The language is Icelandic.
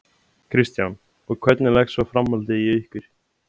Kristján: Og hvernig leggst svo framhaldið í ykkur?